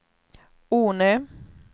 Ornö